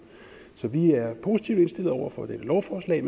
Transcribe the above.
så vi er positivt indstillet over for dette lovforslag